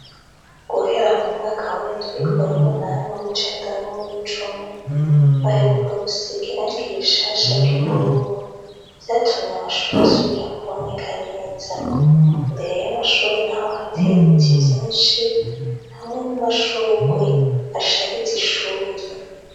Guhera mu mwaka w'indwi, uw'umunani, uw'icenda n'uw'icumi, baheruka gusiga irangi rishasha ry'ubururu. Vyatumye amashure asubira kuboneka neza. Imbere y'amashure naho hateye ibiti vyinshi, hamwe n'amashurwe ashariza ishuri.